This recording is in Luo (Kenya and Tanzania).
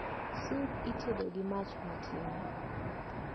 Sup itedo gi mach matin